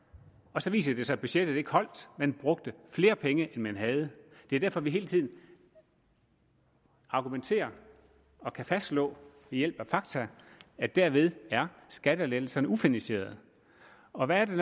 og så viser det sig at budgettet ikke holdt man brugte flere penge end man havde det er derfor vi hele tiden argumenterer og kan fastslå ved hjælp af fakta at derved er skattelettelserne ufinansierede og hvad er det